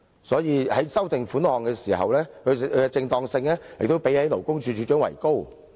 所以，在修訂款項的時候，其正當性亦比勞工處處長為高。